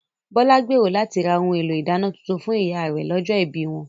Bọ́lá gbèrò láti ra ohun èlò ìdáná tuntun fún ìyá rè lọ́jọ́ ibí wọn